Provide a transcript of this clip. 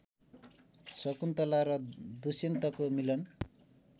शकुन्तला र दुष्यन्तको मिलन